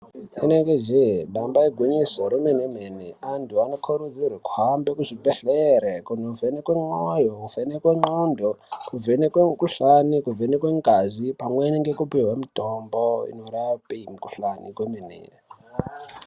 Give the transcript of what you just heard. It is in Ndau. Rinenge jee damba igwinyiso remene mene antu anokurudzirwe kuhambe kuzvibhedhlere kuvhenekwe mwoyo kuvheneke ndxondo kuvhenekwe mikuhlani kuvhenekwe ngazi pamweni ngekupihwe mitombo inorape mikuhlani kwemene.